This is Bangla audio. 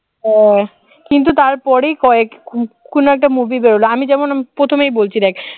হ্যাঁ কিন্তু তারপরেই কয়েক কোন একটা movie বের হলো আমি যেমন প্রথমে বলছি দেখ